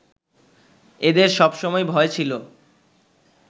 এদের সব সময়েই ভয় ছিল